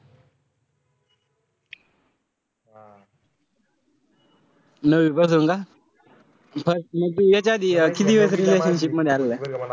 नववीपासून का? म त्याच्याआधी कितीवेळेस relationship मध्ये आलेलाय ?